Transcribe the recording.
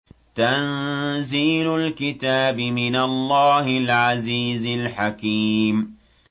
تَنزِيلُ الْكِتَابِ مِنَ اللَّهِ الْعَزِيزِ الْحَكِيمِ